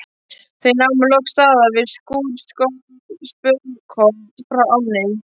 Þau námu loks staðar við skúr spölkorn frá ánni.